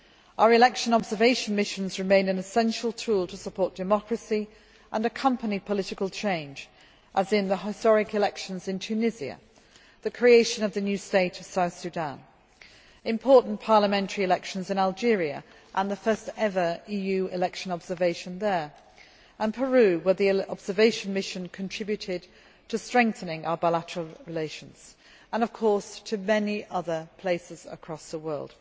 Our election observation missions remain an essential tool to support democracy and accompany political change, as in the case of the historic elections in Tunisia, the creation of a new state in South Sudan, the important parliamentary elections in Algeria with the first ever EU election observation there and Peru, where the observation mission contributed to strengthening our bilateral relations, and, of course, many other places across the world.